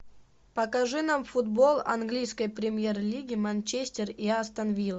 покажи нам футбол английской премьер лиги манчестер и астон вилла